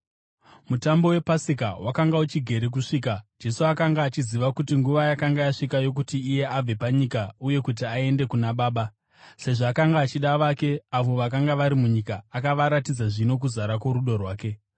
Mutambo wePasika wakanga uchigere kusvika. Jesu akanga achiziva kuti nguva yakanga yasvika yokuti iye abve panyika uye kuti aende kuna Baba. Sezvo akanga achida vake avo vakanga vari munyika, akavaratidza zvino kuzara kworudo rwake.